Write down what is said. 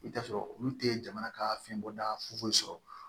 I bɛ t'a sɔrɔ olu tɛ jamana ka fɛn bɔda foyi sɔrɔ